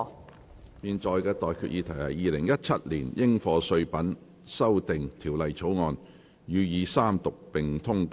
我現在向各位提出的待議議題是：《2017年應課稅品條例草案》，予以三讀並通過。